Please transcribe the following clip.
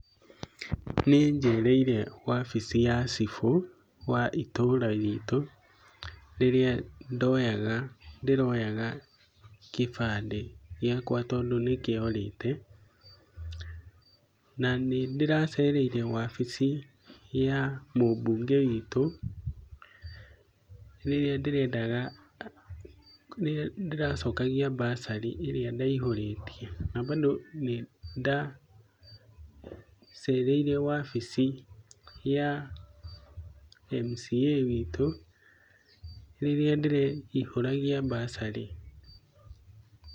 Nĩ njereire wabici ya cibũ wa itũũra ritũ rĩrĩa ndiroyaga gĩbandĩ gĩakwa tondũ nĩkĩorĩte. Na nĩndĩracereire wabici ya mũmbunge witũ, rĩrĩa ndĩracokagia mbacarĩ ĩrĩa ndaihũrĩtie. Na bandũ nĩdacereire wabici ya mca witũ, rĩrĩa ndĩraihũragia mbacarĩ.